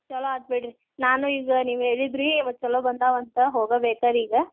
ಚೊಲೋ ಆತ್ ಬಿಡ್ರಿ ನಾನು ಈಗ ನೀವ್ ಹೇಳಿದ್ರೀ ಚೊಲೋ ಬಂದಾವ್ ಅಂತ್ ಹೋಗ ಬೇಕ ರೀ ಈಗ.